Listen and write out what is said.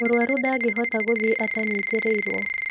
Mũrũaru ndangĩhota gũthiĩ atanyitarĩirwo.